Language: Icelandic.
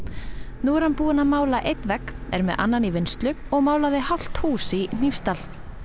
nú er hann búinn að mála einn vegg er með annan í vinnslu og málaði hálft hús í Hnífsdal